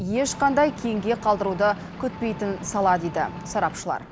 ешқандай кейінге қалдыруды күтпейтін сала дейді сарапшылар